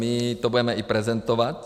My to budeme i prezentovat.